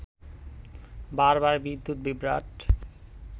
বারবার বিদ্যুৎ বিভ্রাট